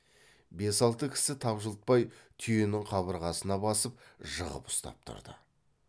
бес алты кісі тапжылтпай түйенің қабырғасына басып жығып ұстап тұрды